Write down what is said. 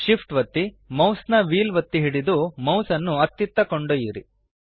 shift ಒತ್ತಿ ಮೌಸ್ನ wheel ಒತ್ತಿ ಹಿಡಿದು ಮೌಸ್ ನ್ನು ಅತ್ತಿತ್ತ ಕೊಂಡೊಯ್ಯಿರಿ